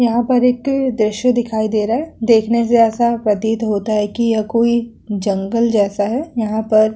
यहाँ पर एक दृश्य दिखाई दे रहा है देखने से ऐसा प्रतीत होता है की या कोई जंगल जैसा है यहाँ पर --